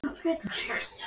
Einar Haraldsson: Í kvöld?